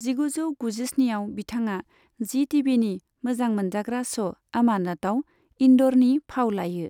जिगुजौ गुजिस्निआव, बिथाङा जी टिभिनि मोजां मोनजाग्रा श', अमानतआव इन्द'रनि फाव लायो।